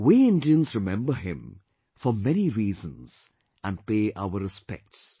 We Indians remember him, for many reasons and pay our respects